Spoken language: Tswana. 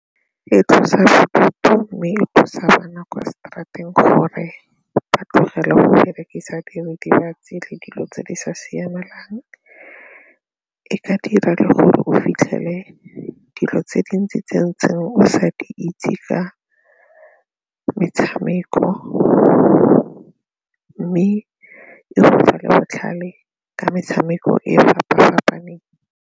E tlosa bodutu mme e thusa bana kwa seterateng gore ba tlogele go berekisa diritibatsi le dilo tse di sa siamang, e ka dira le gore o fitlhele dilo tse dintsi tse o sa di itse ka metshameko mme e le botlhale ka metshameko e fapa-fapaneng.